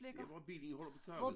Der hvor bilen holder på taget